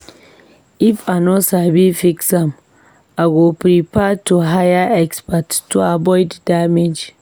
If I no sabi fix am, I go prefer to hire expert to avoid damage.